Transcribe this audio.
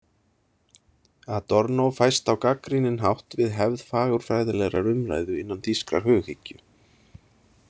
Adorno fæst á gagnrýninn hátt við hefð fagurfræðilegrar umræðu innan þýskrar hughyggju.